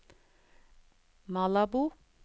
Malabo